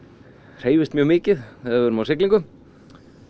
hreyfist mjög mikið þegar við erum á siglingu